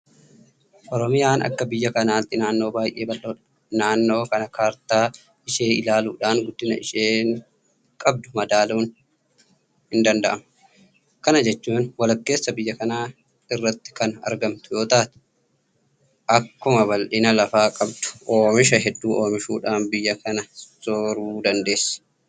Oromiyaan akka biyya kanaatti naannoo baay'ee bal'oodha. Naannoo kana Kaartaa ishee ilaaluudhaan guddina isheen qabdu madaaluun hindanda'ama. Kana jechuun walakkeessa biyya kanaa irratti kana argamtu yoota'u; Akkuma bal'ina lafaa qabdu oomisha hedduu oomishuudhaan biyya kana sooruu dandeesseetti.